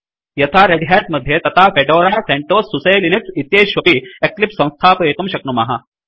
यथा Red Hat मध्ये तथा फेडोरा सेंटोस सुसे लिनक्स इत्येतेष्वपि एक्लिप्स संस्थापयितुं शक्नुमः